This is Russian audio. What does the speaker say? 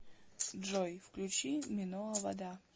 джой включи миноа вода